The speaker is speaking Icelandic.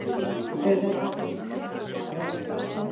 Auðvitað eru alltaf skiptar skoðanir í stórum flokki.